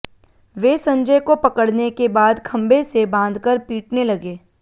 वे संजय को पकड़ने के बाद खंभे से बांधकर पीटने लगे